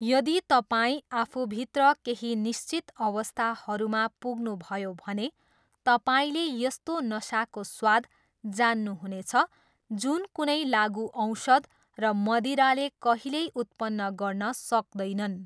यदि तपाईँ आफूभित्र केही निश्चित अवस्थाहरूमा पुग्नुभयो भने तपाईँले यस्तो नसाको स्वाद जान्नुहुनेछ जुन कुनै लागुऔषध र मदिराले कहिल्यै उत्पन्न गर्न सक्दैनन्।